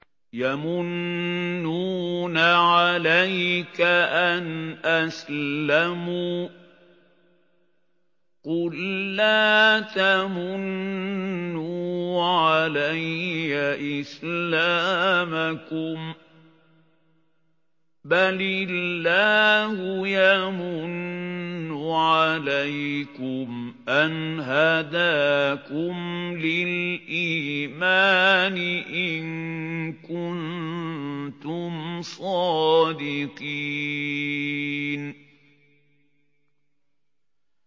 يَمُنُّونَ عَلَيْكَ أَنْ أَسْلَمُوا ۖ قُل لَّا تَمُنُّوا عَلَيَّ إِسْلَامَكُم ۖ بَلِ اللَّهُ يَمُنُّ عَلَيْكُمْ أَنْ هَدَاكُمْ لِلْإِيمَانِ إِن كُنتُمْ صَادِقِينَ